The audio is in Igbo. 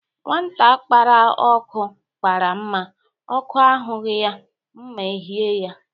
Nwata kpara ọkụ, kpara mma, ọkụ ahụghị ya, mma eyie ya